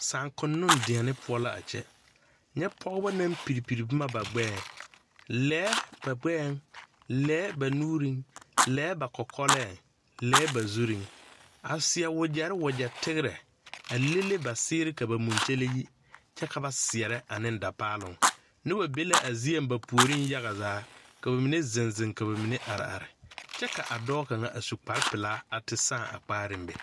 Sããkonnoŋ deɛne poɔ la a kyɛ nyɛ pɔgeba naŋ piri piri boma ba gbɛɛŋ lɛɛ ba gbɛɛŋ lɛɛ ba nuuriŋ lɛɛ ba kɔkɔlɛɛŋ lɛɛ ba zuriŋ a seɛ wagyɛre wagyɛ tegrɛ a lele ba seere ka ba munkyele yi kyɛ ka ba seɛrɛ ane da paaloŋ noba be la a zieŋ ba puoriŋ yagazaa ka ba mine ziŋ ziŋ ka ba mine are are kyɛ ka a dɔɔ kaŋa a su kparpelaa te sãã a puoriŋ be.